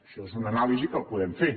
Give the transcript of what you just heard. això és una anàlisi que la podem fer